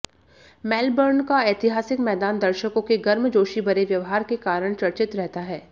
Melbourne का ऐतिहासिक मैदान दर्शकों के गर्मजोशी भरे व्यवहार के कारण चर्चित रहता है